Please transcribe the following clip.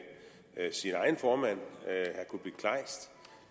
sin egen formand